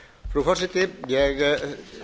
frú forseti ég